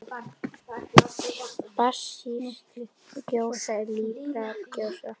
basísk gjóska líparít gjóska